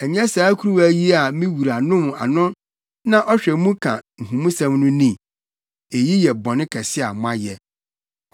Ɛnyɛ saa kuruwa yi a me wura nom ano na ɔhwɛ mu ka nhumusɛm no ni? Eyi yɛ bɔne kɛse a moayɛ.’ ”